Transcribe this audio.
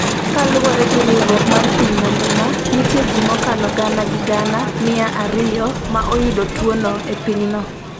Kaluwore gi riwruok mar piny mangima, nitie ji mokalo gana gi gana mia ariyo ma oyudo tuwono e pinyno.